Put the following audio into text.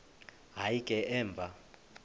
hayi ke emva